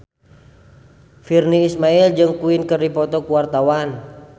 Virnie Ismail jeung Queen keur dipoto ku wartawan